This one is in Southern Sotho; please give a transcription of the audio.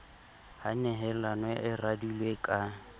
ha nehelano e radilwe ka